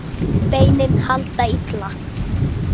Beinin halda illa.